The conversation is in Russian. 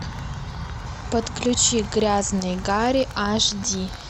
подключи грязный гарри аш ди